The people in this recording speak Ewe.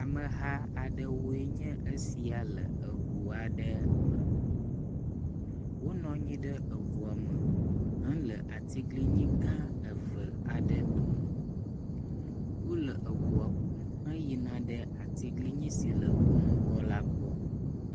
Ameha aɖewoe nye esia le eʋua aɖe me, wonɔanyi ɖe eʋua me hele atiglinyi gãa eve aɖe dome, wóle ʋua kum heyina ɖe atiglinyi si le wó ŋgɔ la gbɔ